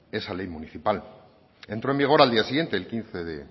esa ley municipal entró en vigor al día siguiente el quince